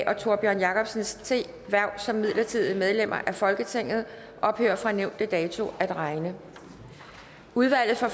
og tórbjørn jacobsens hverv som midlertidige medlemmer af folketinget ophører fra nævnte dato at regne udvalget for